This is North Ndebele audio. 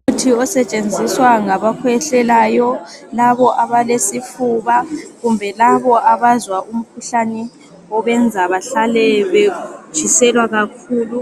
Umuthi osetshenzisa ngabakhwehlelayo, labo abalesifuba kumbe laba abazwa umkhuhlane obenza bahlal betshiselwa kakhulu.